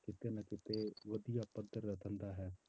ਕਿਤੇ ਨਾ ਕਿਤੇ ਵਧੀਆ ਪੱਧਰ ਦਾ ਧੰਦਾ ਹੈ।